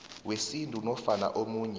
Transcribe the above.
wesintu nofana omunye